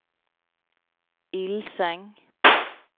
Ilseng